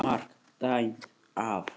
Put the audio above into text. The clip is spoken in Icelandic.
MARK DÆMT AF.